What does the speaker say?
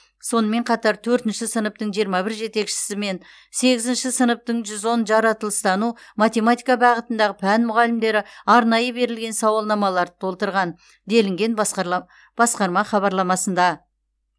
сонымен қатар төртінші сыныптың жиырма бір жетекшісі мен сегізінші сыныптың жүз он жаратылыстану математика бағытындағы пән мұғалімдері арнайы берілген сауалнамаларды толтырған делінген басқарлаб басқарма хабарламасында